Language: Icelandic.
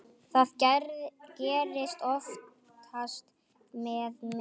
Það gerist oftast með mig.